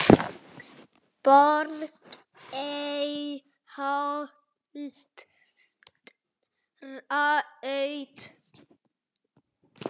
Borgarholtsbraut